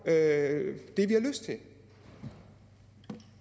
er ikke ens